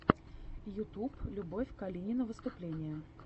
ютуб любовь калинина выступление